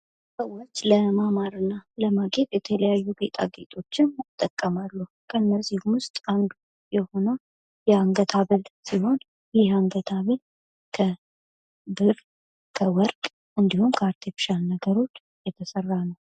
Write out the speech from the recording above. ሰዎች ለማማር እና ለማጌጥጥት የተለያዩ ነገሮችን ይጠቀማሉ። ከነዚህ ውስጥ አንዱ የሆነው አንገት ሀብል ሲሆን የአንገት ሀብል ከብር፣ ከወርቅ እንዲሁም ከአርቴፊሻል ነገሮች የተሰራ ነው።